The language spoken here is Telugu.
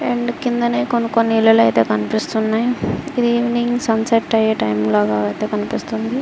అండ్ క్రిందనే కొన్ని కొన్ని ఇల్లు కనిపిస్తున్నాయి ఇది ఈవెనింగ్ సన్సెట్ ఇయ్య టైమ్ లాగా యితే కనిపిస్తున్నది.